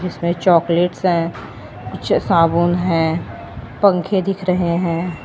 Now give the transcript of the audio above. इसमें चॉकलेट्स हैं कुछ साबुन हैं पंखे दिख रहे हैं।